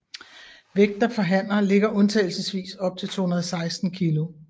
Vægten for hanner ligger undtagelsvis op til 216 kg